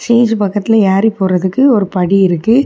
Stage பக்கத்துல யேரி போறதுக்கு ஒரு படி இருக்கு.